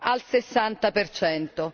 al 60 percento.